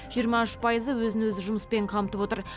жиырма үш пайызы өзін өзі жұмыспен қамтып отыр